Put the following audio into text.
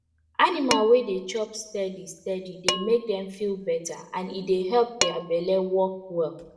animal wey dey chop steady steady dey make dem feel better and e help their belle work well